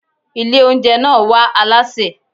Ilé oúnjẹ náà wá alásè.